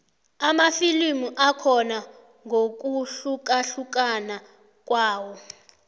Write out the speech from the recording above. amafilimu akhona ngokuhlukahlukana kwawo